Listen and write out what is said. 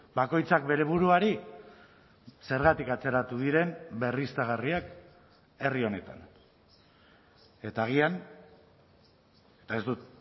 bakoitzak bere buruari zergatik atzeratu diren berriztagarriak herri honetan eta agian eta ez dut